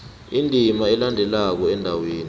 indima elandelako endaweni